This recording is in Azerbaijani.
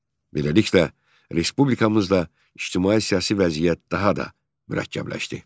Beləliklə, respublikamızda ictimai-siyasi vəziyyət daha da mürəkkəbləşdi.